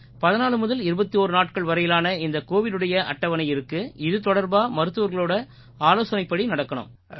14 முதல் 21 நாட்கள் வரையிலான இந்த கோவிடுடைய அட்டவணை இருக்கு இது தொடர்பா மருத்துவர்களோட ஆலோசனைப்படி நடக்கணும்